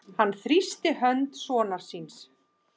Hann þrýsti hönd sonar síns.